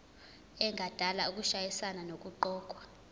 engadala ukushayisana nokuqokwa